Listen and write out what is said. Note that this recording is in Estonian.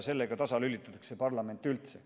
Sellega lülitatakse parlament üldse tasa.